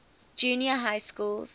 junior high schools